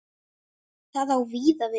Það á víða við.